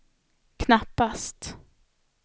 knappast